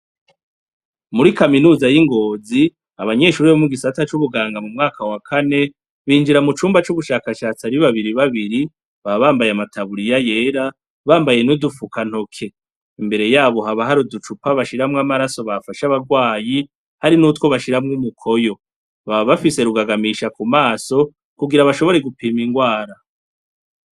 Muri kaminuza y'ingozi abanyeshuri bomu gisata c'ubuganga mu mwaka wa kane binjira mu cumba c'ugushakashatsi ari babiri babiri babambaye amataburiya yera bambaye n'udufuka ntoke imbere yabo habahari uducupa bashiramwo amaraso bafasha abarwayi hari n'utwo bashiramwo imukoyo babafise rugagamisha ku maso kugira bashobore gupima ingwara.